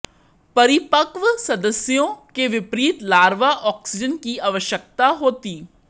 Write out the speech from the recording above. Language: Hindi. परिपक्व सदस्यों के विपरीत लार्वा ऑक्सीजन की आवश्यकता होती